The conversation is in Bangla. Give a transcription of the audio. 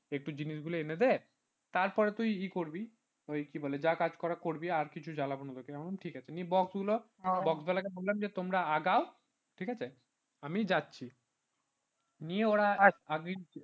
একটু জিনিস গুলো এনে দে তারপর তুই করবি তুই কি বলে যা কাজ করার করবি আর কিছু জ্বালাবো না তোকে আমি বললাম ঠিক আছে নিয়ে box গুলো box বালাকে বললাম যে তোমরা আগাও ঠিক আছে আমি যাচ্ছি নিয়ে ওরা আগেই